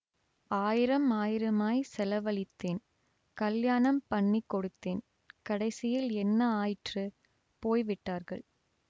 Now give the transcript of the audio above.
ஆயிரம் ஆயிரமாய்ச் செலவழித்தேன் கல்யாணம் பண்ணி கொடுத்தேன் கடைசியில் என்ன ஆயிற்று போய் விட்டார்கள்